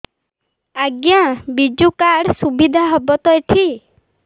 ଆଜ୍ଞା ବିଜୁ କାର୍ଡ ସୁବିଧା ହବ ତ ଏଠି